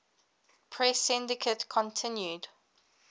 press syndicate continued